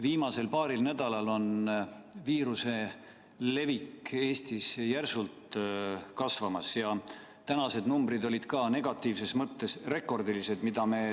Viimasel paaril nädalal on viiruse levik Eestis järsult kasvamas ja tänased numbrid on negatiivses mõttes rekordilised.